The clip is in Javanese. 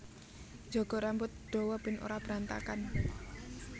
Njaga rambut dawa ben ora berantakan